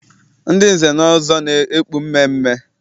Ndị nze na ọzọ na-ekpu mmeemmee.